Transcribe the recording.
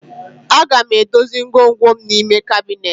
Aga m edozi ngwongwom n'ime kabinet